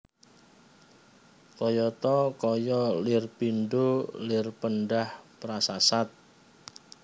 Kayata kaya lir pindha lirpendah prasasat